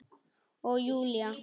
Og Júlía